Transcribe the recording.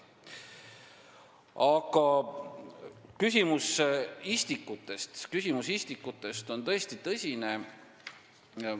Aga istikute küsimus on tõesti tõsine.